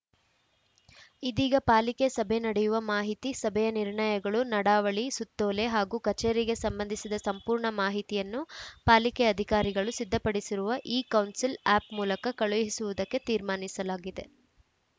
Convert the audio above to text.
ಇದೀಗ ಪಾಲಿಕೆ ಸಭೆ ನಡೆಯುವ ಮಾಹಿತಿ ಸಭೆಯ ನಿರ್ಣಯಗಳು ನಡಾವಳಿ ಸುತ್ತೋಲೆ ಹಾಗೂ ಕಚೇರಿಗೆ ಸಂಬಂಧಿಸಿದ ಸಂಪೂರ್ಣ ಮಾಹಿತಿಯನ್ನು ಪಾಲಿಕೆ ಅಧಿಕಾರಿಗಳು ಸಿದ್ಧಪಡಿಸಿರುವ ಇಕೌನ್ಸಿಲ್‌ ಆ್ಯಪ್‌ ಮೂಲಕ ಕಳುಹಿಸುವುದಕ್ಕೆ ತೀರ್ಮಾನಿಸಲಾಗಿದೆ